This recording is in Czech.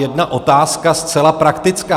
Jedna otázka zcela praktická.